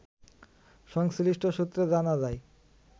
সংশ্লিষ্ট সূত্রে জানা যায়